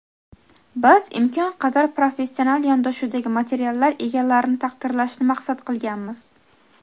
biz imkon qadar professional yondashuvdagi materiallar egalarini taqdirlashni maqsad qilganmiz.